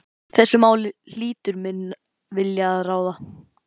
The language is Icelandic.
Í þessu máli hlýtur minn vilji að ráða.